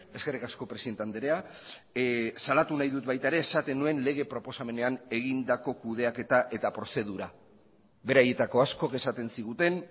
eskerrik asko presidente andrea salatu nahi dut baita ere esaten nuen lege proposamenean egindako kudeaketa eta prozedura beraietako askok esaten ziguten